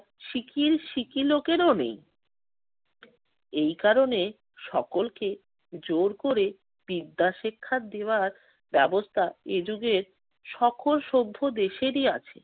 Sickle~ সিকি লোকেরও নেই। এই কারণে সকলকে জোর করে বিদ্যা শিক্ষা দেওয়ার ব্যবস্থা এ যুগে সকল সভ্য দেশেরই আছে।